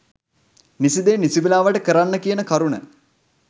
නිසි දේ නිසි වේලාවට කරන්න කියන කරුණ